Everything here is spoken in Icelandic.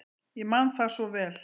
Ég man það svo vel.